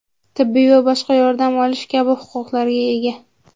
tibbiy va boshqa yordam olish kabi huquqlarga ega.